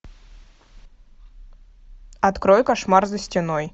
открой кошмар за стеной